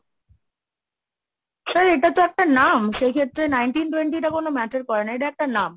sir এটা তো একটা নাম সেই ক্ষেত্রে nineteen twenty টা কোনো matter করে না, এটা একটা নাম।